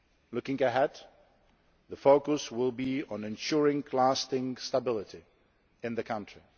Looking ahead, the focus will be on ensuring lasting stability in the country.